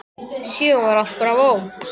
Síðan var allt bravó.